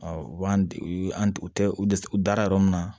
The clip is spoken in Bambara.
u b'an u an u tɛ u dɛ u dara yɔrɔ min na